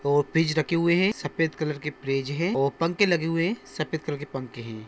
branch ढके हुए हैं सफेद कलर की फ्रिज है पंख लगे हुए हैं सफेद कलर के पंख हैं